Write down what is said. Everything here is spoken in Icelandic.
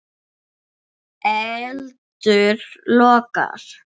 Eldur logar.